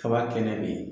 Kaba kɛnɛ be yen